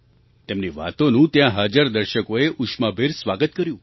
તેમની વાતોનું ત્યાં હાજર દર્શકોએ ઉષ્માભેર સ્વાગત કર્યું